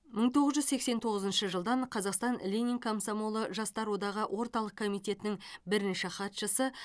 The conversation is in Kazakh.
мың тоғыз жүз сексен тоғызыншы жылдан қазақстан ленин комсомолы жастар одағы орталық комитетінің бірінші хатшысы